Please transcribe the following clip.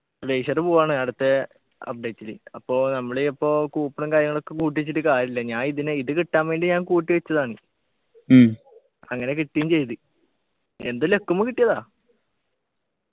glacier പോവ്വാണ് അടുത്തെ update ലു അപ്പൊ നമ്മള് അപ്പൊ coupon ഉം കാര്യങ്ങളൊക്കെ കൂട്ടിവച്ചിട്ട് കാര്യമില്ല ഞാനിതിനെ ഇത് കിട്ടാൻ വേണ്ടി ഞാൻ കൂട്ടി വച്ചതാണ് അങ്ങനെ കിട്ടിം ചെയ്ത് എന്തോ luck മ്മ കിട്ടിയതാ